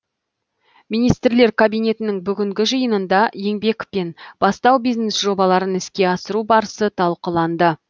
министрлер кабинетінің бүгінгі жиынында еңбек пен бастау бизнес жобаларын іске асыру барысы талқыланды